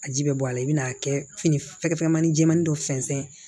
A ji bɛ bɔ a la i bɛn'a kɛ fini fɛ manin jɛmani dɔ sɛnsɛn